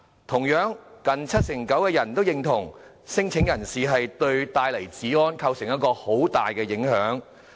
同樣，近七成九受訪者認同聲請人士對治安帶來很大的影響。